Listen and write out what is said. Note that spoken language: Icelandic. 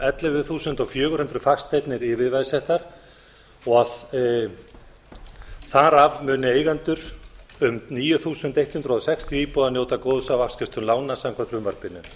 ellefu þúsund fjögur hundruð fasteignir yfirveðsettar og þar af muni eigendur um níu þúsund hundrað sextíu íbúða njóta góðs af afskriftum lána samkvæmt frumvarpinu